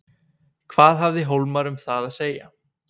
Hvað hafði Hólmar um það að segja?